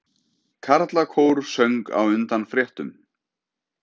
Karlakór söng á undan fréttum